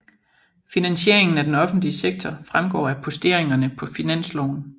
Finansieringen af den offentlige sektor fremgår af posteringerne på finansloven